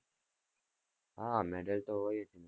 હા medal તો હોય જ ને,